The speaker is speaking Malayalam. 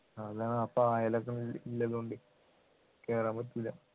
അത് ആ പായലൊക്കെ ഉള്ളതുകൊണ്ട് കേറാൻ പറ്റൂല